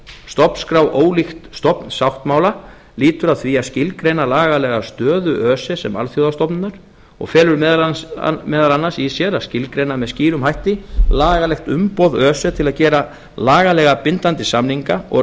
stofnskrá ólíkt stofnsáttmála lýtur að því að skilgreina lagalega stöðu öse sem alþjóðastofnunar og felur meðal annars í sér að skilgreina með skýrum hætti lagalegt umboð öse til að gera lagalega bindandi samninga og